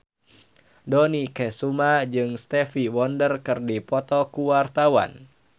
Dony Kesuma jeung Stevie Wonder keur dipoto ku wartawan